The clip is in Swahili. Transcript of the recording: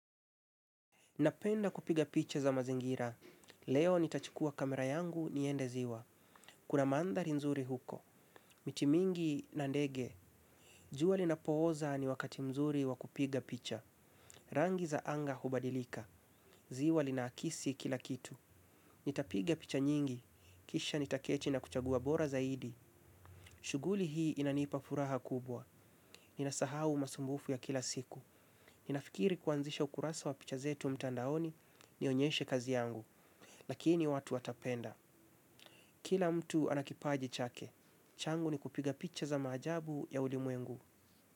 Napenda kupiga picha za mazingira. Leo nitachukua kamera yangu niende ziwa. Kuna manthari nzuri huko. Miti mingi na ndege. Jua linapooza ni wakati mzuri wa kupiga picha. Rangi za anga hubadilika. Ziwa linaakisi kila kitu. Nitapiga picha nyingi. Kisha nitaketi na kuchagua bora zaidi. Shughuli hii inanipa furaha kubwa. Ninasahau masumbufu ya kila siku. Ninafikiri kuanzisha ukurasa wa picha zetu mtandaoni. Nionyeshe kazi yangu. Lakini watu watapenda, kila mtu ana kipaji chake. Changu ni kupiga picha za maajabu ya ulimwengu.